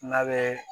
N'a bɛ